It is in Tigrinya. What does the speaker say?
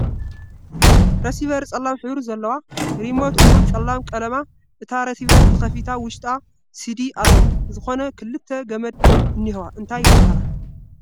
ረሲቨር ፀላም ሕብሪ ዘልዋ ፣ሪሞት እዉን ፀላም ቀልማ ፣እታ ርሲቨር ተክፊታ ዉሽጣ ሲዲ ኣሎ ዝኮና ክልተ ግመድ እኒሕዋ እንታይ ይበሃላ?